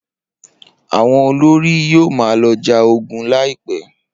Awọn olori yoo ma lọ ja ogun laipẹ.